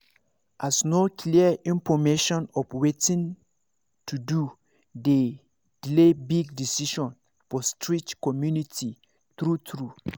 as no clear information of watin to do dey delay big decision for strict community true true